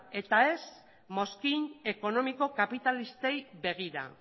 eta ez mozkin ekonomiko kapitalistei begira